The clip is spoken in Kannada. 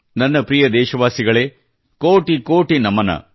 ನನ್ನ ಪ್ರಿಯ ದೇಶವಾಸಿಗಳೇ ಕೋಟಿ ಕೋಟಿ ನಮನ